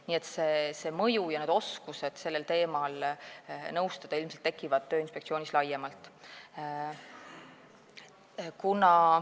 Nii et see mõju ja need oskused sellel teemal nõustada ilmselt tekivad Tööinspektsioonis laiemalt.